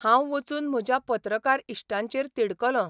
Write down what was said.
हांव वचून म्हज्या पत्रकार इश्टांचेर तिडकलों.